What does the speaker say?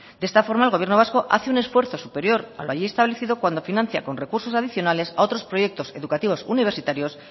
de esta forma el gobierno vasco hace un esfuerzo superior a lo allí establecido cuando financia con recursos adicionales a otros proyectos educativos universitarios